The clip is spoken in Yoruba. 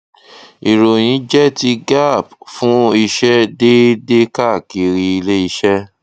ìròyìn jẹ ti gaap fún ìṣe déédéé káàkiri iléiṣẹ